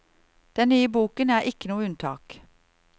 Den nye boken er ikke noe unntak.